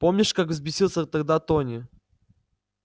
помнишь как взбесился тогда тони